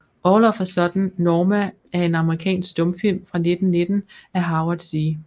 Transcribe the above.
All of a Sudden Norma er en amerikansk stumfilm fra 1919 af Howard C